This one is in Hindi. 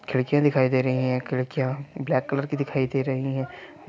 खिड़कियाँ दिखाई दे रही है खिड़कियाँ ब्लेक कलर की दिखाई दे रही है।